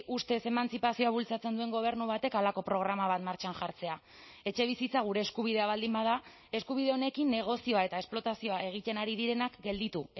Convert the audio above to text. ustez emantzipazioa bultzatzen duen gobernu batek halako programa bat martxan jartzea etxebizitza gure eskubidea baldin bada eskubide honekin negozioa eta esplotazioa egiten ari direnak gelditu